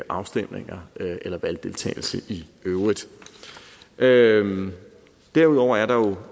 afstemninger eller valgdeltagelse i øvrigt øvrigt derudover er der